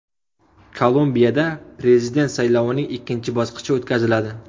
Kolumbiyada prezident saylovining ikkinchi bosqichi o‘tkaziladi.